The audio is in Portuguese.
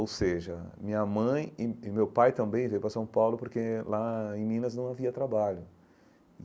Ou seja, minha mãe e e meu pai também vieram para São Paulo porque lá em Minas não havia trabalho.